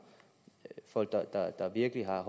folk der virkelig har